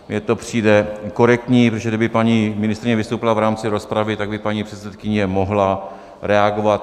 Mně to přijde korektní, protože kdyby paní ministryně vystoupila v rámci rozpravy, tak by paní předsedkyně mohla reagovat.